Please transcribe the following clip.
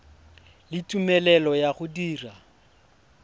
le tumelelo ya go dira